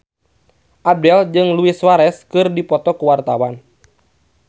Abdel jeung Luis Suarez keur dipoto ku wartawan